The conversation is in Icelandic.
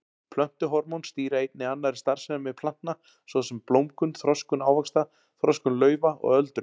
Plöntuhormón stýra einnig annarri starfsemi plantna svo sem blómgun, þroskun ávaxta, þroskun laufa og öldrun.